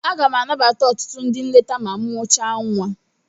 Aga m anabata ọtụtụ ndị nleta ma m mụchaa nwa.